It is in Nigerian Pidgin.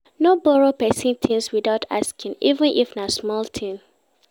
No borrow pesin tins witout asking, even if na small tins.